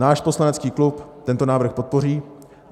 Náš poslanecký klub tento návrh podpoří.